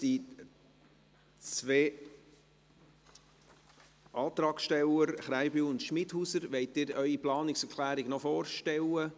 Wollen die beiden Antragsteller, Grossrat Krähenbühl und Grossrätin Schmidhauser, ihre Planungserklärung vorstellen?